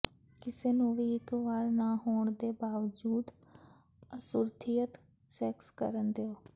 ਕਿਸੇ ਨੂੰ ਵੀ ਇਕ ਵਾਰ ਨਾ ਹੋਣ ਦੇ ਬਾਵਜੂਦ ਅਸੁਰੱਖਿਅਤ ਸੈਕਸ ਕਰਨ ਦਿਓ